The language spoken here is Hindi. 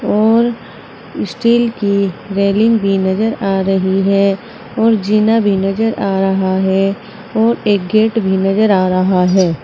और स्टील की रेलिंग भी नजर आ रही है और जीना भी नजर आ रहा है और एक गेट भी नजर आ रहा है।